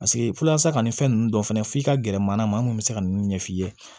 Paseke walasa ka nin fɛn ninnu dɔ fɛnɛ f'i ka gɛrɛ manama maa min bɛ se ka ninnu ɲɛf'i ye